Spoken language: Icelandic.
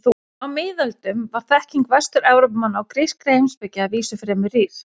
Á miðöldum var þekking Vestur-Evrópumanna á grískri heimspeki að vísu fremur rýr.